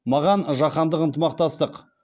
маған жаһандық ынтымақтастық